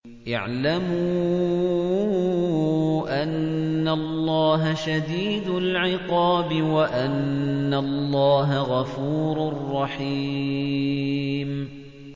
اعْلَمُوا أَنَّ اللَّهَ شَدِيدُ الْعِقَابِ وَأَنَّ اللَّهَ غَفُورٌ رَّحِيمٌ